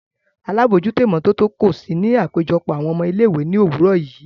Alabojuto imototo ko si ni apejọpọ awọn ọmọ ile-iwe ni owurọ yii.